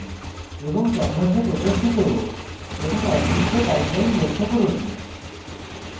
এবং canvas প্রদর্শিত এবং অদৃশ্য guideline লক্ষ্য করুন